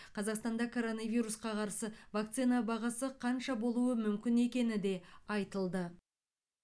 қазақстанда коронавирусқа қарсы вакцина бағасы қанша болуы мүмкін екені де айтылды